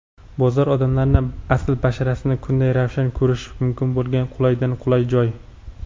Bozor - odamlarning asl basharasini kunday ravshan ko‘rish mumkin bo‘lgan qulaydan-qulay joy.